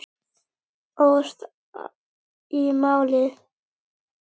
Óðst í málið.